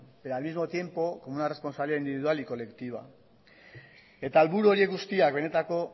pero al mismo tiempo una responsabilidad individual y colectiva eta helburu horiek guztiak benetako